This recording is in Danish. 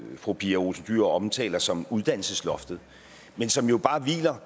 fru pia olsen dyhr omtaler som uddannelsesloftet men som jo bare